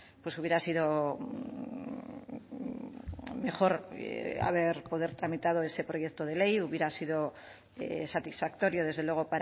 pues hubiera sido mejor haber poder tramitado ese proyecto de ley hubiera sido satisfactorio desde luego